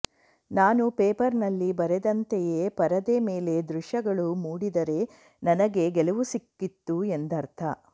ನಾನು ಪೇಪರ್ನಲ್ಲಿ ಬರೆದಂತೆಯೇ ಪರದೆ ಮೇಲೆ ದೃಶ್ಯಗಳು ಮೂಡಿದರೆ ನನಗೆ ಗೆಲುವು ಸಿಕ್ಕಿತು ಎಂದರ್ಥ